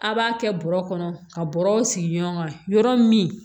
A' b'a kɛ bɔrɔ kɔnɔ ka bɔrɔ sigi ɲɔgɔn ka yɔrɔ min